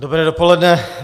Dobré dopoledne.